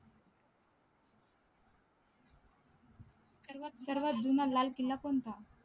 सर्वात जुन्हा लाल किल्ला कोणता